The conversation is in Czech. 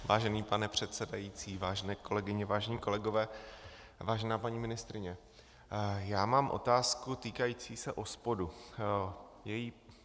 Vážený pane předsedající, vážené kolegyně, vážení kolegové, vážená paní ministryně, já mám otázku týkající se OSPOD.